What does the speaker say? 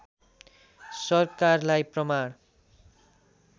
सरकारलाई प्रमाण